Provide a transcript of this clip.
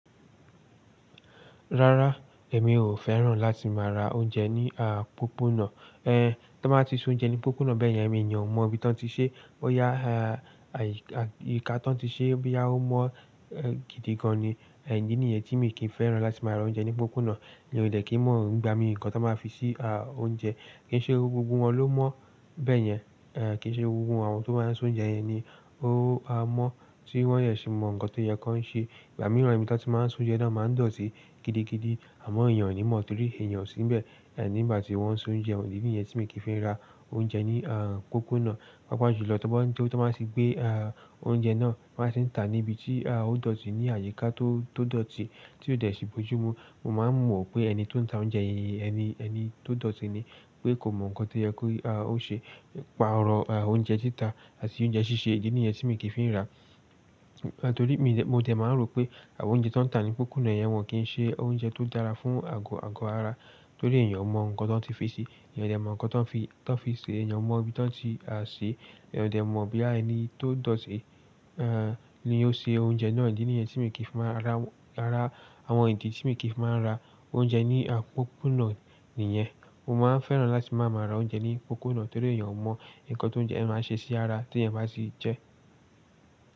Rárá, èmi ò fẹ́ràn láti máa ra oúnjẹ ní àpópónà. Ẹ̀, tó bá ti se ounje ní pópónà bẹ́yẹn, eyàn o mọ̀ ibi tán tí ṣe, boyá àyíká tán tí ṣe bí a ó mọ̀ gidigan ni. Ẹ̀, tó bá ti s'ounjẹ ní pópónà bẹ́yẹn, èyàn o mọ̀ ibi tán tí ṣe, boyá àyíká tán tí ṣe boya ó mọ̀ gidigan ni. Mi ò dé kí n mọ́ ìgbà mi nkan tí wọ́n máa ń fi sí oúnjẹ. Kì í ṣe gbogbo wọn ló mọ̀ bẹ́yẹn. Ẹ̀ kì í ṣe gbogbo àwọn tó bá ń s'ounje yẹn ni ó a mọ̀ tí wọ́n yẹn sì mọ̀ ǹkan tó yẹ kí wọ́n ṣe. Ìgbà mìíràn ìbítà tí wọ́n máa ń s'ounje náà máa dọ̀tí gidigidi, àmọ́ èèyàn ò ní mọ̀ torí èèyàn ò sí nbẹ̀. Ẹ̀ nígbà tí wọ́n ń s'ounje idí nìyẹn tí mi kì í fẹ́ ra oúnjẹ ní à pópónà. Pápá ìṣòjò tó bá ti gbé oúnjẹ náà, wọ́n á sì ń tà níbi tí a ó dọ̀tí ní àyíká tó dọ̀tí tí ò dẹ̀ sì bojúmu. Mo máa mọ̀ pé ẹni tó ń ta oúnjẹ yìí, ẹni tó dọ̀tí ni pé kò mọ̀ ǹkan tó yẹ kó ó ṣe. Pààrọ̀ oúnjẹ títa àti oúnjẹ ṣíṣe, ìdí nìyẹn tí mi kì í fẹ́ rà á torí mi dẹ̀, mo dẹ̀ máa rò pé àwọn oúnjẹ tó ń tà ní pópónà yẹn, wọn kì í ṣe oúnjẹ tó dára fún àgọ́ ara torí èèyàn ò mọ̀ ǹkan tó ti fi ṣi. Èèyàn ò dẹ̀ mọ̀ ǹkan tó ti fi ṣe, èèyàn ò mọ̀ ibi tán tí ṣe, èèyàn ò dẹ̀ mọ̀ boya ẹni tó dọ̀tí ni ó ṣe oúnjẹ náà. Ìdí nìyẹn tí mi kì í máa rà á. Àwọn ìdí tí mi kì í máa ń ra oúnjẹ ní pópónà nìyẹn. Mo máa ń fẹ́ràn láti máa mára oúnjẹ ní pópónà torí èèyàn ò mọ̀ ǹkan tó ń jẹ ẹ máa ṣe sí ara tí ẹ̀yin bá sì jẹ.